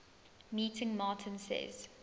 meeting martin says